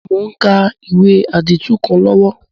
Mo n ka ìwé àdìtú kan lọ́wọ́